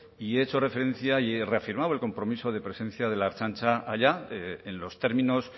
y hecho referencia y he reafirmado el compromiso de presencia de la ertzaintza allá en los términos